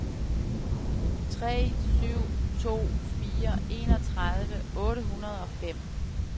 tre syv to fire enogtredive otte hundrede og fem